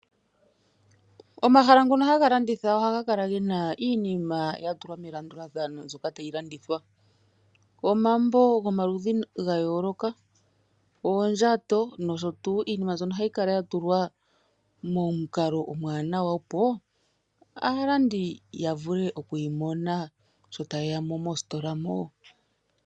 Omahala ngono haga landitha ohaga kala gena iinima yatulwa melandulathano mbyoka tayi landithwa. Omambo gomaludhi gayooloka, oondjato nosho tuu, iinima mbyono ohayi kala yatulwa momukalo omwanawa opo aalandi yavule okuyi mona sho tayeya mositola moka.